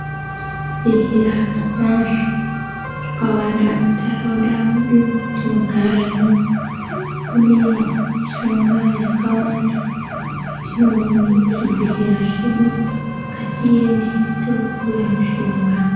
Zvibhedhlera tinazvo, zvakawanda muntharaunda mwedu mwatinogaramwo. Kune mishonga yakawanda, yetinoone muzvibhedhlera zvedu. Ngatiende toopuwe mishonga.